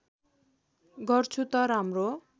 गर्छु त राम्रो